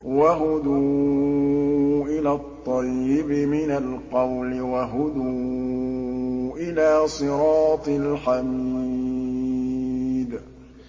وَهُدُوا إِلَى الطَّيِّبِ مِنَ الْقَوْلِ وَهُدُوا إِلَىٰ صِرَاطِ الْحَمِيدِ